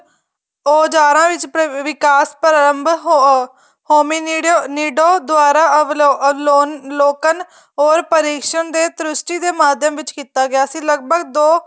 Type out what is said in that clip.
ਔਜਾਰਾਂ ਵਿਚ ਵਿਕਾਸ ਪਰਾਰੰਭ ਹੋਣ ਹੋਮਿਨਿਡੋ ਦੁਆਰਾ ਲੋਕਨ ਔਰ ਪਰਿਸਨ ਦੇ ਤ੍ਰਿਸ੍ਟੀ ਦੇ ਮਾਧਿਅਮ ਵਿੱਚ ਕੀਤਾ ਗਿਆ ਸੀ ਲੱਗਭੱਗ ਦੋ